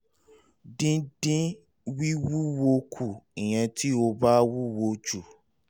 dídín wíwúwo kù (ìyẹn tí o bá wúwo jù)